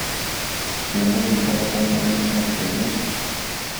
Kje bo njihova konkurenčna prednost?